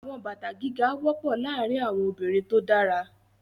Àwọn bàtà gíga wọ́pọ̀ láàárín àwọn obìnrin tó dára.